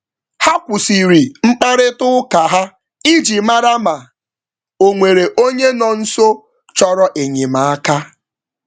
Ha kwụsịrị mkparita ụka ha iji màrà ma, onwere onye nọ nso chọrọ enyemaka.